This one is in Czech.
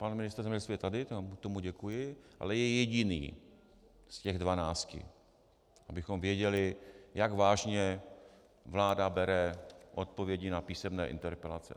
Pan ministr zemědělství je tady, tomu děkuji, ale je jediný z těch 12, abychom věděli, jak vážně vláda bere odpovědi na písemné interpelace.